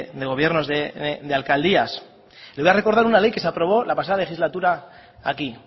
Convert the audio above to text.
de gobiernos de alcaldías le voy a recordar una ley que se aprobó la pasada legislatura aquí